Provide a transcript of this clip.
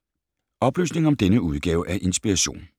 Oplysninger om denne udgave af Inspiration